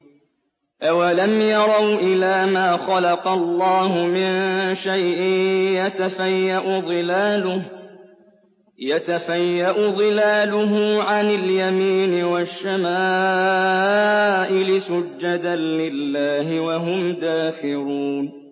أَوَلَمْ يَرَوْا إِلَىٰ مَا خَلَقَ اللَّهُ مِن شَيْءٍ يَتَفَيَّأُ ظِلَالُهُ عَنِ الْيَمِينِ وَالشَّمَائِلِ سُجَّدًا لِّلَّهِ وَهُمْ دَاخِرُونَ